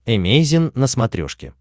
эмейзин на смотрешке